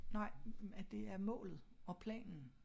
Nej at det er målet og planen